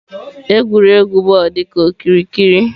Egwuregwu bọọlụ dị ka okirikiri.